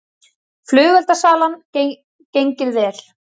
Flugeldasalan gengið vel